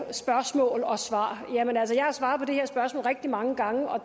spørgsmål og svar jamen altså jeg har svaret på det her spørgsmål rigtig mange gange og